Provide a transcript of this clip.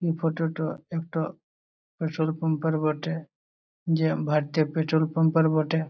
এই ফটো টো একটো পেট্রোলপাম্প এর বটে যে ভারতীয় পেট্রোল পাম্প এর বটে।